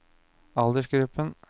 aldersgruppen